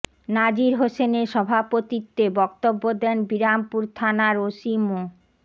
নাজির হোসেনের সভাপতিত্বে বক্তব্য দেন বিরামপুর থানার ওসি মো